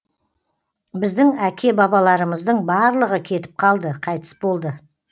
біздің әке бабаларымыздың барлығы кетіп қалды қайтыс болды